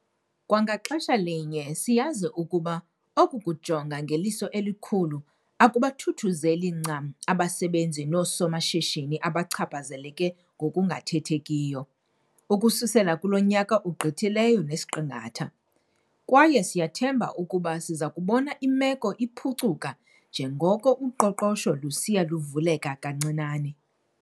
Kwa ngaxesha linye, siyazi ukuba oku kujonga 'ngeliso elikhulu' akubathuthuzeli ncam abasebenzi noosomashishini abachaphazeleke ngokungathethekiyo, ukususela kulo nyaka ugqithileyo nesiqingatha. Kwaye siyathemba ukuba sizakubona imeko iphukcuka njengoko uqoqosho lusiya luvuleka kancinane.